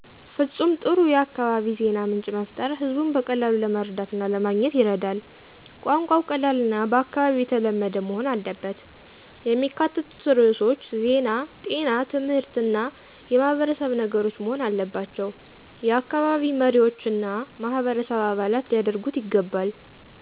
ፍጹም ጥሩ የአካባቢ ዜና ምንጭ መፍጠር ህዝቡን በቀላሉ ለመረዳት እና ለማገኘት ይረዳል። ቋንቋው ቀላልና በአካባቢው ተለመደ መሆን አለበት። የሚካተቱት ርዕሶች ዜና ጤና ትምህርት እና ማህበረሰብ ነገሮች መሆን አለባባቸው። የአካባቢ መሪዎችና ማህበረሰብ አባላት ሊያደርጉት ይገባል።